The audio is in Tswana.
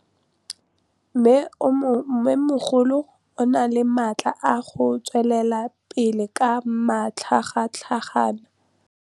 Mmêmogolo o na le matla a go tswelela pele ka matlhagatlhaga.